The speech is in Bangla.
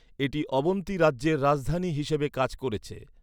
এটি অবন্তী রাজ্যের রাজধানী হিসেবে কাজ করেছে।